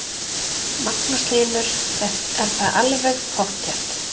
Magnús Hlynur: Er það alveg pottþétt?